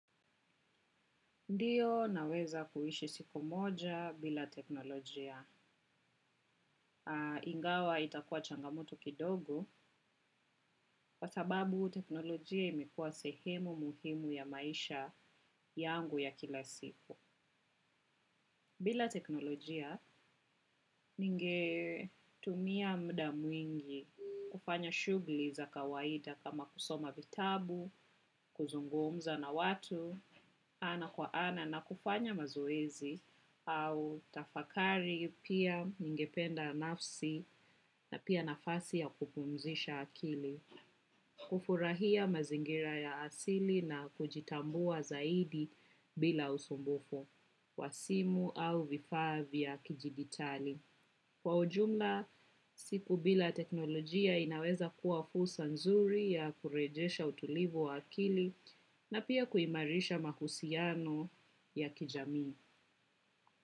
Ndiyo naweza kuishi siku moja bila teknolojia. Ingawa itakuwa changamoto kidogo, kwa sababu teknolojia imekuwa sehemu muhimu ya maisha yangu ya kila siku. Bila teknolojia, ninge tumia muda mwingi kufanya shughuli za kawaida kama kusoma vitabu, kuzungumza na watu, ana kwa ana na kufanya mazoezi, au tafakari pia ningependa nafsi na pia nafasi ya kupumzisha akili. Kufurahia mazingira ya asili na kujitambua zaidi bila usumbufu, wa simu au vifaa vya kijiditali. Kwa ujumla, siku bila teknolojia inaweza kuwa fursa nzuri ya kurejesha utulivu wa akili na pia kuimarisha mahusiano ya kijamii.